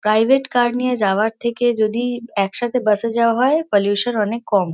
Private car নিয়ে যাওয়ার থেকে যদি একসাথে বাস -এ যাওয়া হয় পলিউশন অনেক কম।